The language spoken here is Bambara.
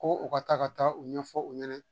Ko u ka taa ka taa u ɲɛfɔ u ɲɛna